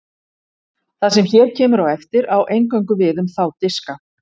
það sem hér kemur á eftir á eingöngu við um þá diska